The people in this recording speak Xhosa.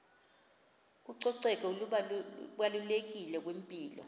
ucoceko lubalulekile kwimpilo